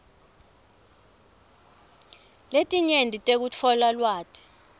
letinyenti tekutfola lwati